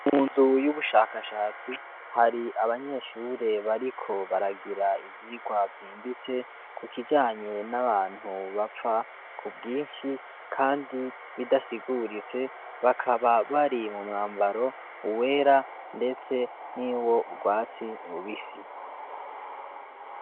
Mu nzu y'ubushakashatsi hari abanyeshure bariko baragira ivyirwa vyimbitse ku kijanye n'abantu bapfa ku bwinshi, kandi bidasiguritse bakaba bari mu mwambaro uwera, ndetse n'i wo urwatsi rubisi.